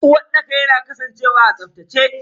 Uwarɗaka yana kasancewa a tsaftace.